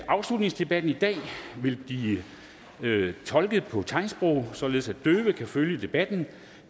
åbningsdebatten i dag vil blive tolket på tegnsprog således at døve kan følge debatten